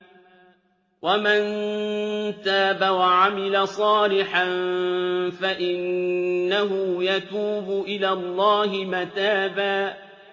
وَمَن تَابَ وَعَمِلَ صَالِحًا فَإِنَّهُ يَتُوبُ إِلَى اللَّهِ مَتَابًا